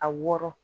A wɔrɔ